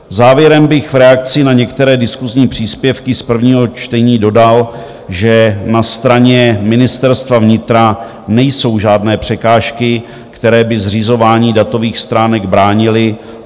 Závěrem bych v reakci na některé diskusní příspěvky z prvního čtení dodal, že na straně ministerstva vnitra nejsou žádné překážky, které by zřizování datových schránek bránily.